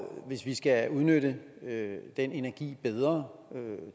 hvis vi skal udnytte den energi bedre